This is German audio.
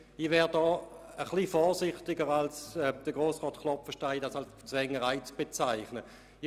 Ich wäre da etwas vorsichtiger als Grossrat Klopfenstein, der dies als Zwängerei bezeichnet hat.